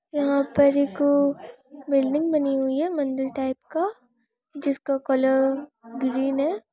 यहाँ पर एक बिल्डिंग बनी हुई है मन्दिर टाइप का जिसका कलर ग्रीन है।